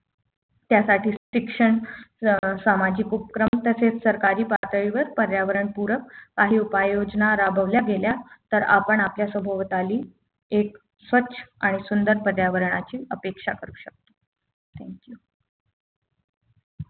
त्यासाठी शिक्षण अं सामाजिक उपक्रम तसेच सरकारी पातळीवर पर्यावरण पूरक असे उपाय योजना राबवल्या गेल्या तर आपण आपल्या सभोवताली एक स्वच्छ आणि सुंदर पर्यावरणाची अपेक्षा करू शकतो